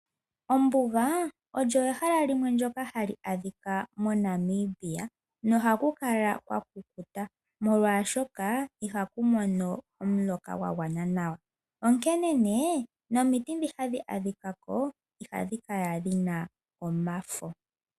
Ombuga olyo ehala ndoka hali adhika moNamibia nohalukala kwa kukuta molwaashoka ihaku mono omuloka gwagwana nawa, onkene nee nomiti dhi hadhi adhikako ihadhi kala dhina omafo.